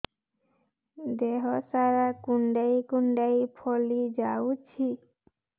ଦେହ ସାରା କୁଣ୍ଡାଇ କୁଣ୍ଡାଇ ଫଳି ଯାଉଛି